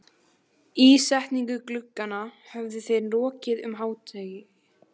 Ísetningu glugganna höfðu þeir lokið um hádegið.